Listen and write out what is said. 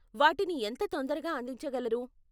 వాటిని ఎంత తొందరగా అందించగలరు?